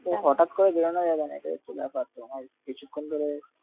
হঠাৎ করে বেড়ানো যাবে না কারণ কিছুক্ষণ ধরে,